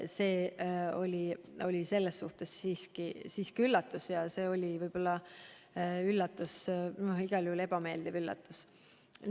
See oli siiski üllatus ja igal juhul ebameeldiv üllatus.